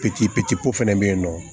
Pipiniyɛri fana bɛ yen nɔ